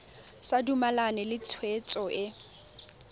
sa dumalane le tshwetso e